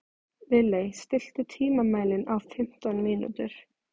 Lilley, stilltu tímamælinn á fimmtán mínútur.